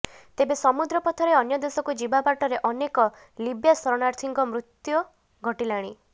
ତେବେ ସମୁଦ୍ର ପଥରେ ଅନ୍ୟ ଦେଶକୁ ଯିବା ବାଟରେ ଅନେକ ଲିବ୍ୟା ଶରଣାର୍ଥୀଙ୍କ ମୃତୁ୍ୟ ଘଟିଲାଣି